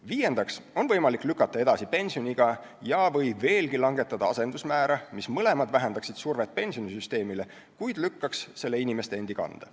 Viiendaks saab lükata edasi pensioniiga või veelgi langetada asendusmäära – mõlemad võimalused vähendaksid survet pensionisüsteemile, kuid lükkaks selle inimeste endi kanda.